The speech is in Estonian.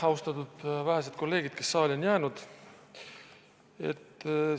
Austatud vähesed kolleegid, kes saali on jäänud!